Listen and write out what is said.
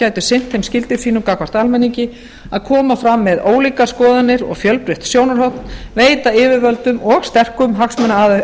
gætu sinnt þeim skyldum sínum gagnvart almenningi að koma fram með ólíkar skoðanir og fjölbreytt sjónarhorn veita yfirvöldum og sterkum hagsmunaaðilum